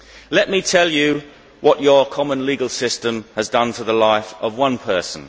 Let me tell you what your common legal system has done for the life of one person.